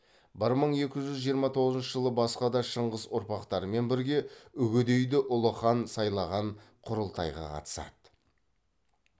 бір мың екі жүз жиырма тоғызыншы жылы басқа да шыңғыс ұрпақтарымен бірге үгедейді ұлы хан сайлаған құрылтайға қатысады